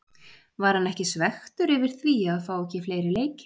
Var hann ekki svekktur yfir því að fá ekki fleiri leiki?